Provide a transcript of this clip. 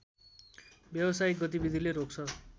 व्यवसायिक गतिविधिले रोक्छ